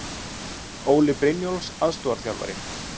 Óli Brynjólfs aðstoðarþjálfari.